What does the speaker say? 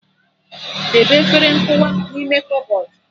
Debe efere nkụwa n'ime kọbọdụ